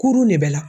Kurun de bɛ la